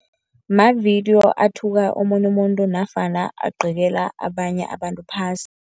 Mavidiyo athuka omunye umuntu nofana agqekela abanye abantu phasi.